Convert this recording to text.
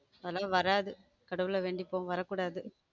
ஆனா வராது கடவுளை வேண்டிப்போம் வரக்கூடாது.